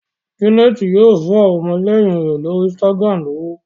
Janet yíò fún àwọn ọmọléyìn rẹ l'ori Instagram ní ọwọ.